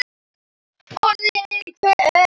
Orðin hvell.